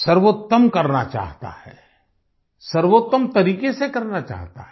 सर्वोत्तम करना चाहता है सर्वोत्तम तरीके से करना चाहता है